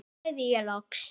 sagði ég loks.